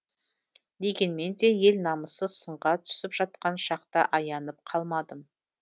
дегенмен де ел намысы сынға түсіп жатқан шақта аянып қалмадым